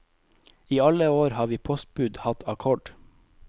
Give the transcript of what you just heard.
I alle år har vi postbud hatt akkord.